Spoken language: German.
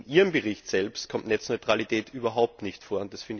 In Ihrem Bericht selbst kommt Netzneutralität überhaupt nicht vor.